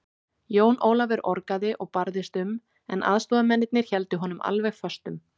Jón Ólafur orgaði og barðist um, en aðstoðarmennirnir héldu honum alveg föstum.